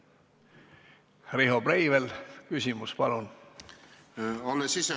Riho Breivel, küsimus, palun!